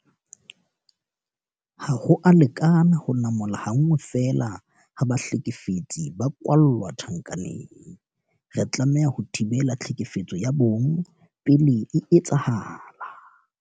Ha ho a lekana ho namola ha nngwe feela ha bahlekefetsi ba kwalla tjhankaneng. Re tlameha ho thibela tlhekefetso ya bong pele e etsahala.